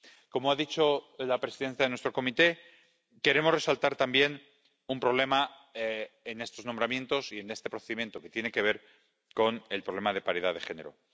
Como ha dicho la presidenta de nuestra comisión, queremos resaltar también un problema en estos nombramientos y en este procedimiento, que tiene que ver con el problema de paridad de género.